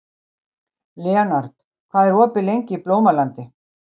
Leonhard, hvað er opið lengi í Blómalandi?